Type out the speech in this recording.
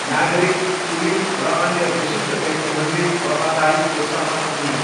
नागरिक, कुलीन र अन्य विशिष्ट व्यक्तिहरूले वफादारीको शपथ लिए।